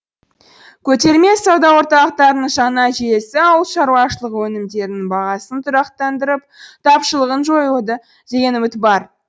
көтерме сауда орталықтарының жаңа желісі ауыл шаруашылығы өнімдерінің бағасын тұрақтандырып тапшылығын жоюды деген үміт бар